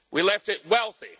We left it wealthy.